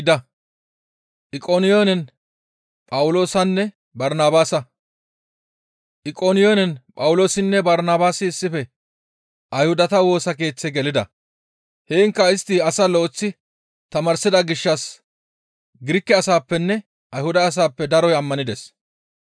Iqoniyoonen Phawuloosinne Barnabaasi issife Ayhudata Woosa Keeththe gelida; heenkka istti asaa lo7eththi tamaarsida gishshas Girike asaappenne Ayhuda asappe daroy ammanides.